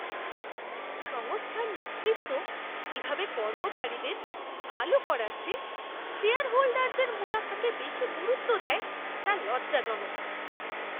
সংস্থার নেতৃত্ব কীভাবে কর্মচারীদের ভাল করার চেয়ে শেয়ারহোল্ডারদের মুনাফাকে বেশি গুরুত্ব দেয় তা লজ্জাজনক।